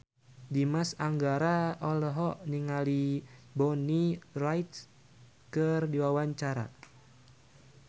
Dimas Anggara olohok ningali Bonnie Wright keur diwawancara